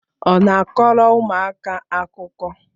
Ọ na-akọrọ ụmụaka akụkọ?